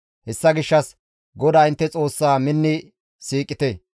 Hessa gishshas GODAA intte Xoossaa minni siiqite.